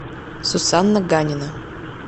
сусанна ганина